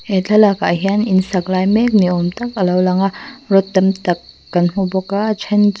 he thlalak ah hian in sak lai mek ni awm tak a lo lang a rod tam tak kan hmu bawk a a then chu--